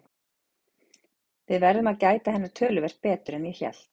Við þurfum að gæta hennar töluvert betur en ég hélt.